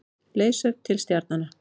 Leiðsögn til stjarnanna.